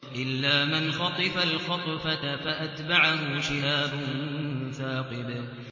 إِلَّا مَنْ خَطِفَ الْخَطْفَةَ فَأَتْبَعَهُ شِهَابٌ ثَاقِبٌ